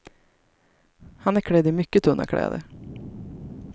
Han är klädd i mycket tunna kläder.